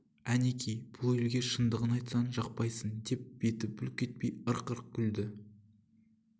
әнеки бұл елге шындығын айтсаң жақпайсың деп беті бүлк етпей ырқ-ырқ күлді